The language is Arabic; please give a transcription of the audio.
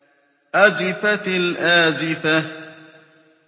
أَزِفَتِ الْآزِفَةُ